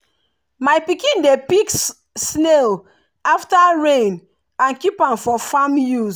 my pikin dey pick snail after rain and keep am for farm use.